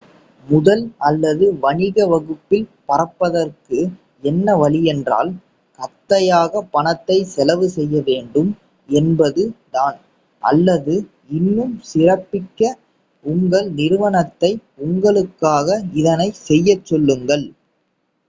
முதல் அல்லது வணிக வகுப்பில் பறப்பதற்கு என்ன வழியென்றால் கத்தையாக பணத்தை செலவு செய்ய வேண்டும் என்பது தான் அல்லது இன்னும் சிறப்பிக்க உங்கள் நிறுவனத்தை உங்களுக்காக இதனைச் செய்யச் சொல்லுங்கள்